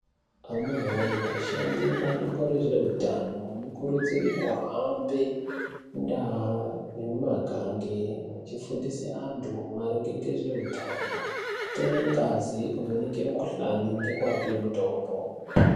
Amunawee, ashandi ebandiko rezveutano anokurudzirwe kuhambe mundau nemumagange echifundise antu maringe ngezveutano, kutore ngazi, kuvheneke mikuhlani ngekuape mutombo.